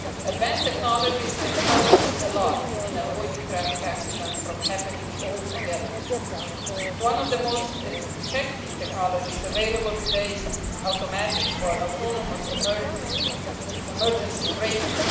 Advanced technologies can help us a lot in preventing traffic accidents from happening all together. One of the most effective technologies available today is automatic or autonomous emergency braking.